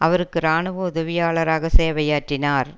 அவருக்கு இராணுவ உதவியாளராக சேவையாற்றினார்